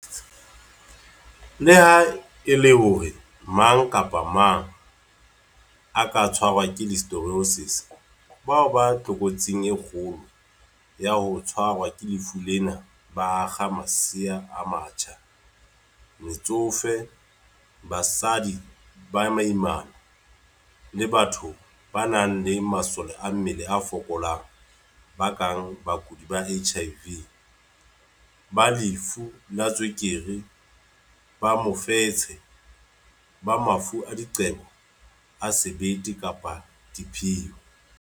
Leha e le hore mang kapa mang a ka tshwarwa ke Listeriosis, bao ba tlokotsing e kgolo ya ho tshwarwa ke lefu lena ba akga masea a matjha, metsofe, basadi ba baimana, le batho ba nang le masole a mmele a fokolang ba kang bakudi ba HIV, ba lefu la tswekere, ba mofetshe, ba mafu a diqebo a sebete kapa diphio.